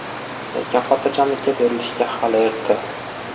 Lekin xotirjamlikka berilishga hali erta.